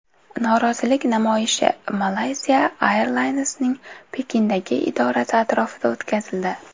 Norozilik namoyishi Malaysia Airlines’ning Pekindagi idorasi atrofida o‘tkazildi.